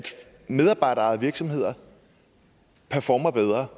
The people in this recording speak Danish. medarbejderejede virksomheder performer bedre